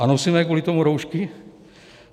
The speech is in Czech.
A nosíme kvůli tomu roušky?